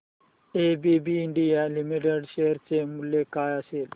ABB India limited share चे मूल्य काय असेल